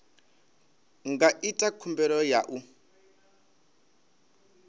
nga ita khumbelo ya u